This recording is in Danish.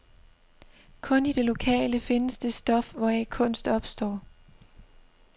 Kun i det lokale findes det stof, hvoraf kunst opstår.